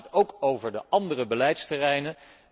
Dan gaat het ook over de andere beleidsterreinen.